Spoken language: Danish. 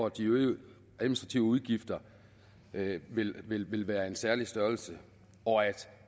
at de øgede administrative udgifter vil vil være af en særlig størrelse og at